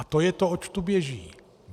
A to je to, oč tu běží.